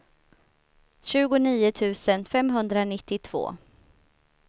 tjugonio tusen femhundranittiotvå